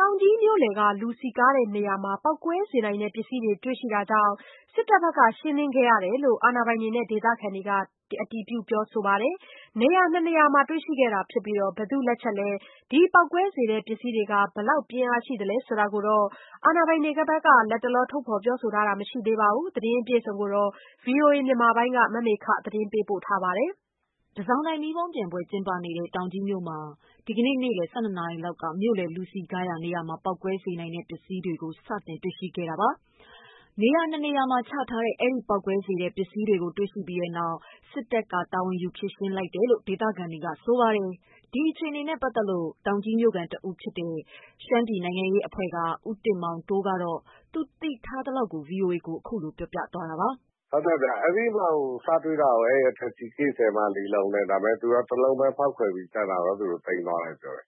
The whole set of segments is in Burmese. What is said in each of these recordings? တောင်ကြီး မြို့လည် လူစည်ကားရာ နေရာမှာ ပေါက်ကွဲစေနိုင်တဲ့ ပစ္စည်း တွေ့ရှိခဲ့တာမို့ တပ်မတော်က ရှင်းလင်းခဲ့ရတယ်လို့ အာဏာပိုင်တွေနဲ့ ဒေသခံတွေကအတည်ပြုပြောဆိုကြပါတယ်။ နေရာ ၂နေရာမှာတွေ့ရရှိခဲ့တာဖြစ်ပြီး ဘယ်သူ့လက်ချက်လဲ ဒီပေါက်ကွဲစေတဲ့ ပစ္စည်းက ဘယ် လောက်ပြင်းအားရှိလဲဆိုတာ အာဏာပိုင်တွေဘက်က ထုတ်ဖော်ပြောဆိုတာမရှိသေးပါဘူး။ ဒီသတင်းကိုဗွီအိုအေ မြန်မာပိုင်းက မေခက ပေးပို့ထားပါတယ်။ တန်ဆောင်တိုင် မီးပုံးပျံပွဲကျင်းပနေတဲ့ တောင်ကြီး မြို့မှာ ဒီကနေ့နေ့လည် ၁၂ နာရီလောက်ကမြို့လယ် လူစည်ကားရာ နေရာမှာ ပေါက်ကွဲစေနိုင်တဲ့ ပစ္စည်းကို တွေ့ရှိခဲ့ရတာပါ။ နေရာ ၂နေရာမှာချထားတဲ့ အဲဒီပေါက်ကွဲစေနိုင်တဲ့ပစ္စည်းတွေကို တွေ့ပြီးတဲ့နောက် စစ်တပ်က တာဝန်ယူ ရှင်းလင်းလိုက်ပါတယ်။ ဒီအခြေအနေနဲ့ပတ်သက်ပြီး တောင်ကြီးမြို့ခံတဦးဖြစ်တဲ့ ရှမ်းပြည်နိုင်ငံရေးအဖွဲ့က ဦးတင်မောင်တိုးက သူသိထားရသလောက် ဗွီအိုအေကို အခုလိုပြောပြပါတယ်။ " အဲဒီဗုံးတွေကို စတွေ့တာ safety case ထဲမှာ ၄ လုံးပဲ သူတို့က ၁ လုံးပဲ ဖောက်ခွဲပြီး ကျန်တာကတော့ သိမ်းသွားတယ်လို့ပြောတယ်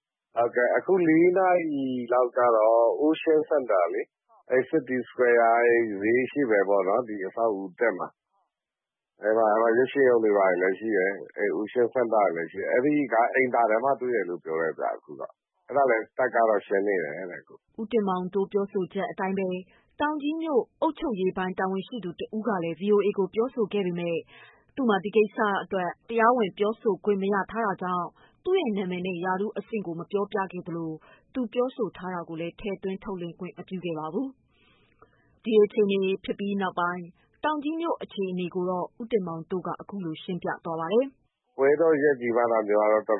။ အခု ၄ နာရီလောက်ကတော့ ocean center ပေါ့နော် ဒီဈေး အရှေ့ဘက် မှာ အဲဒီမှာ ရုပ်ရှင်ရုံတွေလည်းရှိတယ်။ ocean center လည်းရှိတယ် အဲဒီက အိမ်သာထဲမှာတွေ့တယ်လို့ပြောတယ်။ အဲဒါလည်း တပ်ကတော့ ရှင်းနေတယ်တဲ့။ ဦးတင်မောင်တိုး ပြောဆိုချက်အတိုင်းပဲ တောင်ကြီးမြို့ အုပ်ချုပ်ရေးပိုင်း တာဝန်ရှိသူတဦးကလည်း ဗွီအိုအေကို ပြောပေမဲ့ သူ့မှာ ဒီကိစ္စအတွက် တရားဝင် ပြောပိုင်ခွင့်ရမထားတာကြောင့် သူ့ရဲ့အမည်နဲ့ ရာထူးအဆင့်ကိုမပြောသလို သူပြောဆိုထားတာကို လည်း ထည့်သွင်း ထုတ်လွှင့်ခွင့်မပြုပါဘူး။ ဒီအခြေအနေဖြစ်ပြီးတဲ့နောက်ပိုင်း တောင်ကြီးမြို့အခြေအနေကိုတော့ ဦးတင်မောင်တိုးက အခုလို ရှင်းပြပါတယ် "ဒါကတော်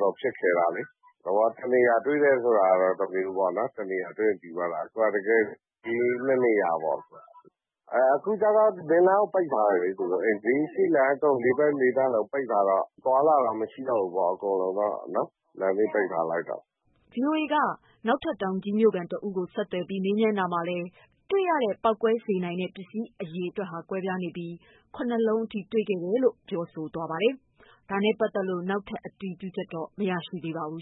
တော်ဖြစ်ခဲတာလေ။ တနေရာတွေ့တယ်ဆိုရင်တော့ တမျိုးပေါ့နော် အဲဒါ အခုက နေရာကြီး ၂ နေရာပေ့ါနော် အခုကတော့ ဘေးနားတွေကို ပိတ်ထားတယ် အရှေ့ဘေး အဲဒီလေးနေရာကို ပိတ်ထားတယ် အသွားအလာမရှိတော့ဘူးပေါ့နော် လမ်းတွေပိတ်ထားလိုက်တော့" ဗွီအိုအေကို နောက်ထပ် တောင်ကြီးမြို့ခံတဦးကို ထပ်ဆက်သွယ်ပြီး မေးမြန်းတာမှာတော့ တွေ့ရတဲ့ ပေါက်ကွဲစေနိုင်တဲ့ပစ္စည်း အရေအတွက် ကွာခြားနေပြီး ၇ လုံးထိတွေ့တယ်လို့ ပြောပါတယ်။ အဲဒါနဲ့ပတ်သက်ပြီး နောက်ထပ ် အတည်ပြုချက်တော့ မရသေးပါဘူး